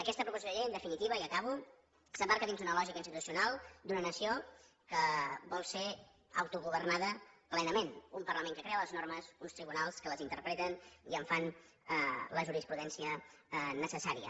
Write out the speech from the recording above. aquesta proposició de llei en definitiva i acabo s’emmarca dins d’una lògica institucional d’una nació que vol ser autogovernada plenament un parlament que crea les normes uns tribunals que les interpreten i en fan la jurisprudència necessària